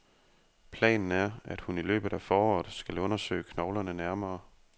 Planen er, at hun i løbet af foråret skal undersøge knoglerne nærmere.